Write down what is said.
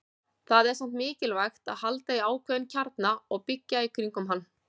Það er samt mikilvægt að halda í ákveðinn kjarna og byggja í kringum hann.